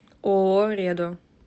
ооо редо